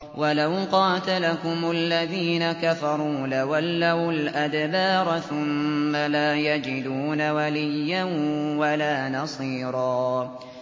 وَلَوْ قَاتَلَكُمُ الَّذِينَ كَفَرُوا لَوَلَّوُا الْأَدْبَارَ ثُمَّ لَا يَجِدُونَ وَلِيًّا وَلَا نَصِيرًا